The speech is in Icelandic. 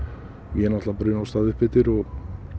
ég náttúrulega bruna af stað upp eftir og